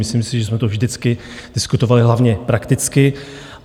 Myslím si, že jsme to vždycky diskutovali hlavně prakticky.